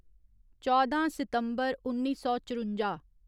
चौदां सितम्बर उन्नी सौ चरुंजा